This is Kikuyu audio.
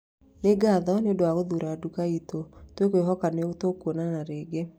Nĩ ngatho nĩ ũndũ wa gũthuura nduka itũ tũkwĩhoka nĩ tũgũkuona rĩngĩ